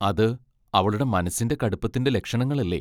അത് അവളുടെ മനസ്സിന്റെ കടുപ്പത്തിന്റെ ലക്ഷണങ്ങളല്ലേ?